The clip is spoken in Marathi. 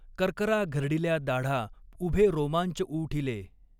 कर्करा घर्डिल्या दाढा उभे रोमांच ऊठिले।